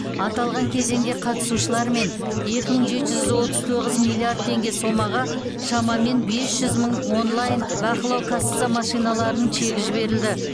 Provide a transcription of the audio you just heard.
аталған кезеңде қатысушылармен екі мың жеті жүз отыз тоғыз миллиард теңге сомаға шамамен бес жүз мың онлайн бақылау касса машиналарының чегі жіберілді